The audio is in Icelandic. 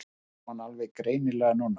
Sá hann alveg greinilega núna.